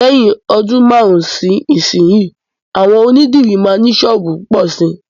Lẹ́yìn ọdún márùn-ún sí ìsinsìnyí, àwọn onídìrí máa ní sọ́ọ̀bù púpọ̀ síi.